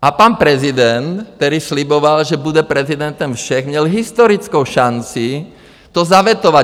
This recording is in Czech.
A pan prezident, který sliboval, že bude prezidentem všech, měl historickou šanci to zavetovat.